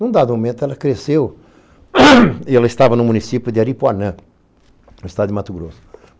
Num dado momento, ela cresceu e ela estava no município de Aripuanã, no estado de Mato Grosso.